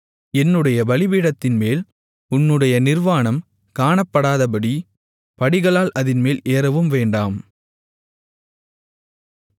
என்னுடைய பலிபீடத்தின்மேல் உன்னுடைய நிர்வாணம் காணப்படாதபடி படிகளால் அதின்மேல் ஏறவும் வேண்டாம்